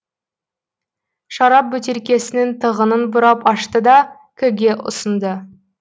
шарап бөтелкесінің тығынын бұрап ашты да к ге ұсынды